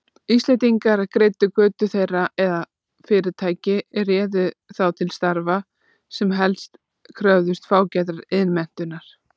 Íslendingar greiddu götu þeirra eða fyrirtæki réðu þá til starfa, sem helst kröfðust fágætrar iðnmenntunar.